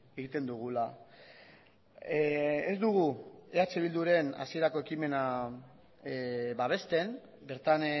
egiten dugula ez dugu eh bilduren hasierako ekimena babesten bertan